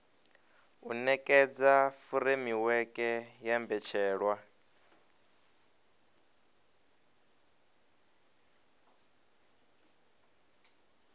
u nekedza furemiweke ya mbetshelwa